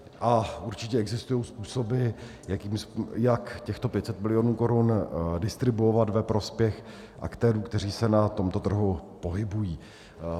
A určitě existují způsoby, jak těchto 500 milionů korun distribuovat ve prospěch aktérů, kteří se na tomto trhu pohybují.